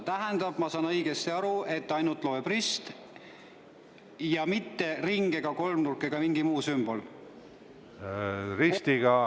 Tähendab, kas ma saan õigesti aru, et loeb ainult rist, mitte ring, kolmnurk ega mingi muu sümbol?